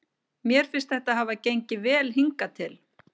Mér finnst þetta hafa gengið vel hingað til.